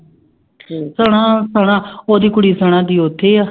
ਸਨਾ ਸਨਾ ਉਹਦੀ ਕੁੜੀ ਸਨਾ ਦੀ ਉੱਥੇ ਹੈ।